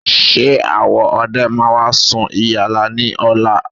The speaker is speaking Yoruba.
Ṣé àwọn ọdẹ máa sun ìyálá ní ọ̀la?